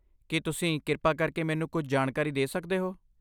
ਕੀ ਤੁਸੀਂ ਕਿਰਪਾ ਕਰਕੇ ਮੈਨੂੰ ਕੁਝ ਜਾਣਕਾਰੀ ਦੇ ਸਕਦੇ ਹੋ?